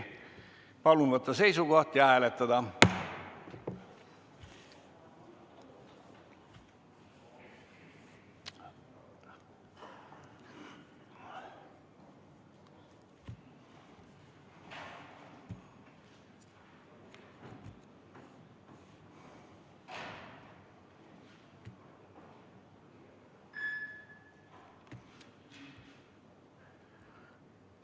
Palun võtta seisukoht ja hääletada!